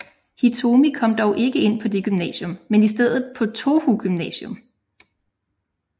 Hitomi kom dog ikke ind på det gymnasium men i stedet på Touhou Gymnasium